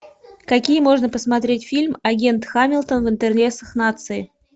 какие можно посмотреть фильм агент хамилтон в интересах нации